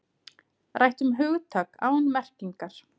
Rætt um hugtak án merkingar